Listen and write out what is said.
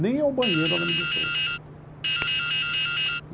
Nem ao banheiro ela me deixou ir.